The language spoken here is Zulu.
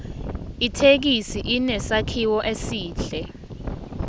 ithekisi inesakhiwo esihle